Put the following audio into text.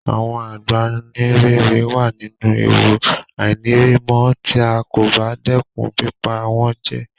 Àwon Àgbáǹréré wa nínú ewu àìnírimó tí a kò bá dẹ́kun pípa wón jẹ